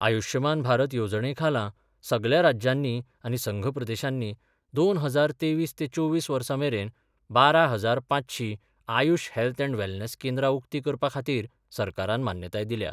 आयुष्यमान भारत येवजणे खाला सगल्या राज्यांनी आनी संघ प्रदेशांनी दोन हजार तेवीस ते चोवीस वर्सा मेरेन बारा हजार पांचशी आयुष हेल्थलँड वेलनेस केंद्रां उक्तीं करपा खातीर सरकारान मान्यताय दिल्या.